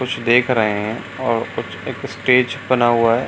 कुछ देख रहे है और कुछ एक स्टेज बना हुआ है।